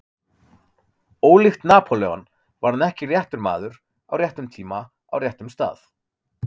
Ólíkt Napóleon var hann ekki réttur maður, á réttum tíma, á réttum stað.